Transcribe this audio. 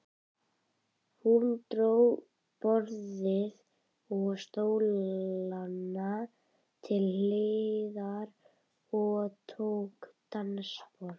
Hún dró borðið og stólana til hliðar og tók dansspor.